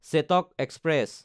Chetak express